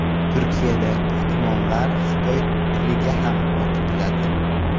Turkiyada imomlar xitoy tiliga ham o‘qitiladi.